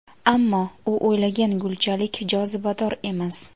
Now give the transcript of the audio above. ammo u o‘ylagan gulchalik jozibador emas.